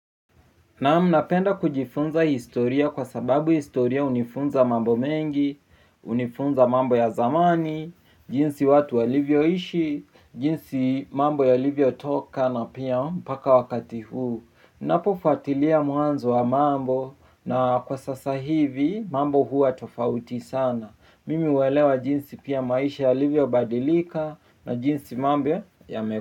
Naam napenda kujifunza historia kwa sababu historia hunifunza mambo mengi hunifunza mambo ya zamani jinsi watu walivyoishi jinsi mambo yalivyotoka na pia katika wakati huu napofuatilia mwanzo wa mambo na kwa sasa hivi mambo huwa tofauti sana. Mimi huelewa jinsi pia maisha yalivyobadilika na jinsi mambo.